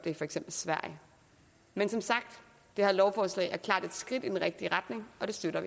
i for eksempel sverige men som sagt det her lovforslag er klart et skridt i den rigtige retning og det støtter